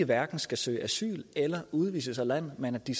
hverken skal søge asyl eller udvises af landet men at de